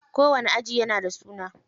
Kowani aji yana da suna.